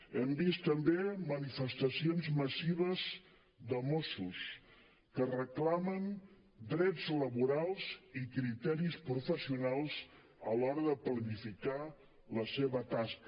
hem vist també manifestacions massives de mossos que reclamen drets laborals i criteris professionals a l’hora de planificar la seva tasca